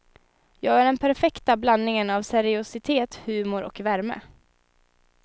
Jag är den perfekta blandningen av seriositet, humor och värme.